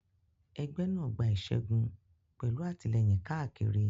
Ẹgbẹ́ náà gba ìṣẹ́gun pẹ̀lú àtìlẹ́yìn káàkiri.